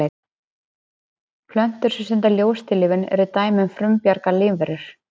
plöntur sem stunda ljóstillífun eru dæmi um frumbjarga lífverur